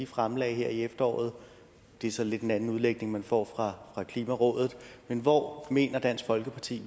fremlagde her i efteråret det er så lidt en anden udlægning man får fra klimarådet men hvor mener dansk folkeparti